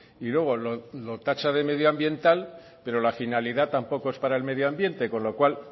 y luego lo tacha de medioambiental pero la finalidad tampoco es para el medioambiente con lo cual